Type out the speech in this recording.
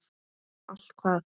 Allt hvað?